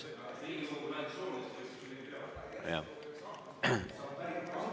Jah.